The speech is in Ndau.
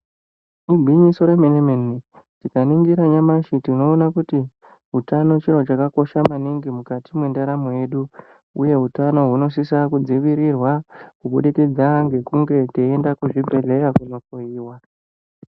Igwinyiso remene mene tikaningira nyamashi tinoona kuti utano chiro chakabakosha maningi mukati mwendaramo yedu uye utano hunosisa kudzivirirwa kubudikidza ngekunge teienda kuchibhedhleya kohloyiwa.